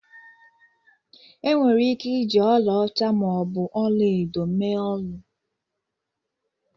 Enwere ike iji ọlaọcha ma ọ bụ ọla edo mee olu.